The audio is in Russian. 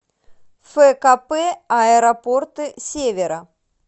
фкп аэропорты севера